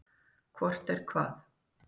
Hvort er hvað?